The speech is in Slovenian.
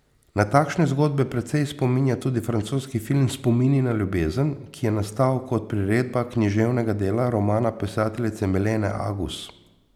Na takšne zgodbe precej spominja tudi francoski film Spomini na ljubezen, ki je nastal kot priredba književnega dela, romana pisateljice Milene Agus.